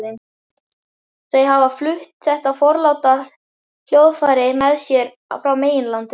Þau hafa flutt þetta forláta hljóðfæri með sér frá meginlandinu.